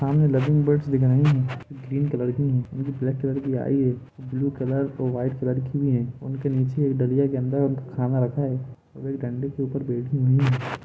यहा love birds दिखाय दे रहे है ग्रीन कलर के ब्लेक है आई है ब्लू कलर वाईट कलर भी है उनके निचे एक जालिया के अंदर खाना रखा है वो डंडे के ऊपर बेठे हुए है।